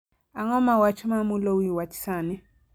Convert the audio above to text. Ang'o ma wach ma mulo wi wach sani